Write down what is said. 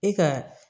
E ka